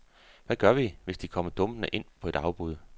Hvad gør vi, hvis de kommer dumpende ind på et afbud?